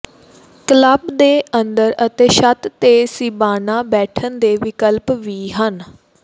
club ਦੇ ਅੰਦਰ ਅਤੇ ਛੱਤ ਦੇ ਸੀਬਾਨਾ ਬੈਠਣ ਦੇ ਵਿਕਲਪ ਵੀ ਹਨ